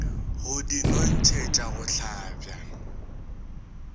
go di nontšhetša go hlabja